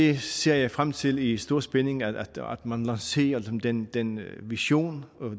jeg ser jeg frem til i stor spænding at man lancerer den den vision